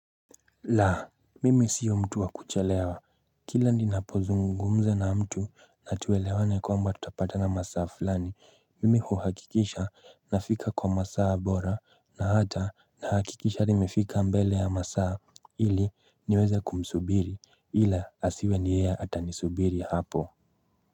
Laa, mimi siyo mtu wakuchelewa. Kila ninapo zungumza na mtu na tuwelewane kwamba tutapata na masaa fulani, mimi huhakikisha na fika kwa masaa bora na hata na hakikisha nimefika mbele ya masaa ili niweza kumsubiri ila asiwe ni yeye ata nisubiri hapo.